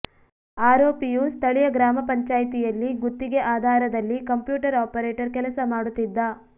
ಆರೋಪಿಯು ಸ್ಥಳೀಯ ಗ್ರಾಮ ಪಂಚಾಯ್ತಿಯಲ್ಲಿ ಗುತ್ತಿಗೆ ಆಧಾರದಲ್ಲಿ ಕಂಪ್ಯೂಟರ್ ಆಪರೇಟರ್ ಕೆಲಸ ಮಾಡುತ್ತಿದ್ದ